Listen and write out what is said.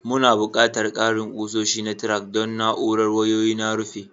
Muna buƙatar ƙarin kusoshi na tack don na'urar wayoyi na rufi.